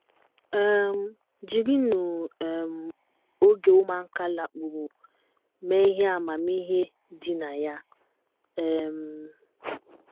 um Jirinụ um oge ụmụaka lakpuru mee ihe amamihe dị na ya um.